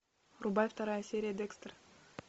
врубай вторая серия декстер